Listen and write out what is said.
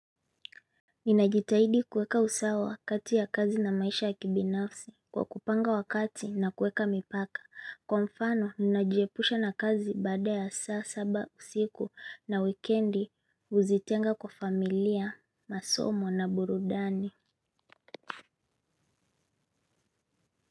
Ninajitahidi kueka usawa wakati ya kazi na maisha ya kibinafsi kwa kupanga wakati na kueka mipaka. Kwa mfano, ninajiepusha na kazi baada ya saa, saba, siku na wikendi uzitenga kwa familia, masomo na burudani.